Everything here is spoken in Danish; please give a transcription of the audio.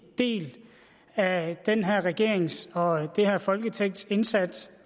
del af den her regerings og det her folketings indsats